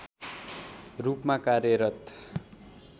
रूपमा कार्यरत